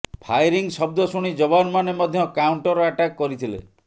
firing ଶବ୍ଦ ଶୁଣି ଯବାନମାନେ ମଧ୍ୟ କାଉଣ୍ଟର ଆଟାକ କରିଥିଲେ